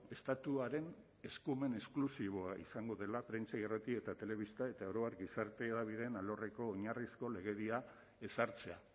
estatuaren eskumen esklusiboa izango dela prentsa irrati eta telebista eta oro har gizarte hedabideen alorreko oinarrizko legedia ezartzea